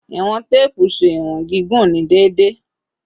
Iwọn teepu ṣe iwọn gigun ni deede